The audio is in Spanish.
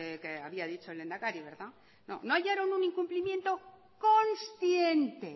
que había dicho el lehendakari no hallaron un incumplimiento consciente